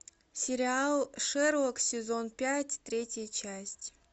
сериал шерлок сезон пять третья часть